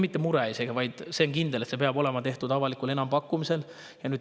Mitte isegi mure, aga see on kindel, et peab tehtud olema avalik enampakkumine.